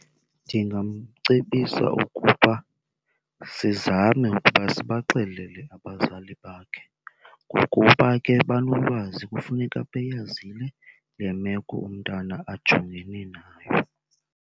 Ndingamcebisa ukuba sizame ukuba sibaxelele abazali bakhe ngokuba ke banolwazi, kufuneka beyazile le meko umntana ajongene nayo.